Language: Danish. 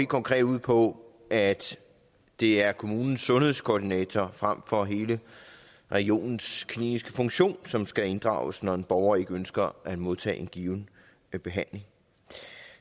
konkret ud på at det er kommunens sundhedskoordinator frem for hele regionens kliniske funktion som skal inddrages når en borger ikke ønsker at modtage en given behandling